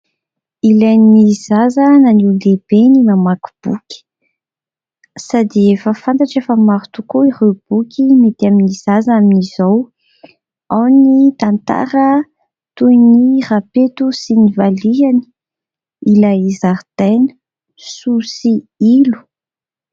Ilainy zaza na ny olon-dehibe ny mamaky boky sady efa fantatra efa maro tokoa ireo boky mety amin'ny zaza amin'izao : ao ny tantara toy ny rapeto sy ny valihany, ilay zaridaina Soa sy Ilo.